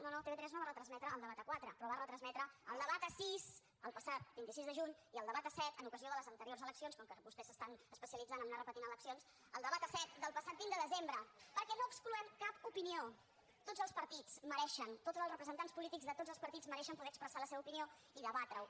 no no tv3 no va retransmetre el debat a quatre però va retransmetre el debat a sis el passat vint sis de juny i el debat a set en ocasió de les anteriors eleccions com que vostès s’estan especialitzant en anar repetint eleccions el debat a set del passat vint de desembre perquè no excloem cap opinió tots els partits mereixen tots els representants polítics de tots els partits mereixen poder expressar la seva opinió i debatre ho